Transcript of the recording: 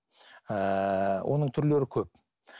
ыыы оның түрлері көп